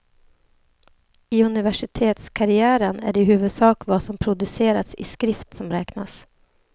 I universitetskarriären är det i huvudsak vad som producerats i skrift som räknas.